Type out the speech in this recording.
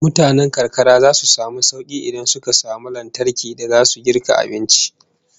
Mutanen karkara zasu samu sauki idan suka samu lantarki da zasu girka abinci